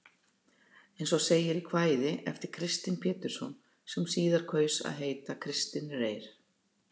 Eins og segir í kvæði eftir Kristin Pétursson, sem síðar kaus að heita Kristinn Reyr.